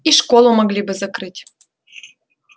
и школу могли бы закрыть